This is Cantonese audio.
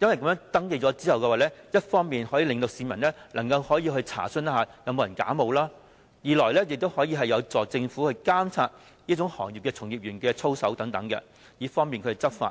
因為在登記後，一來能讓市民查詢是否有人假冒，二來亦有助政府監察行業從業員的操守，以便執法。